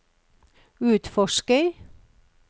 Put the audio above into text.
utforsker